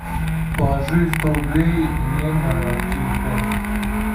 положи сто рублей мне на телефон